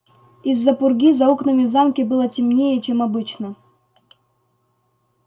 из-за пурги за окнами в замке было темнее чем обычно